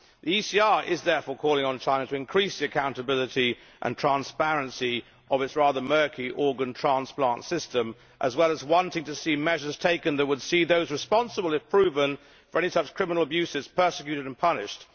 The ECR is therefore calling on China to increase the accountability and transparency of its rather murky organ transplant system, as well as wanting to see measures taken that would see those responsible, if proven, for any such criminal abuses, prosecuted and punished.